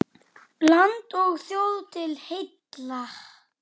Landi og þjóð til heilla!